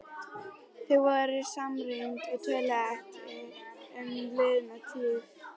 Þau voru samrýnd og töluðu ekki um liðna tíð.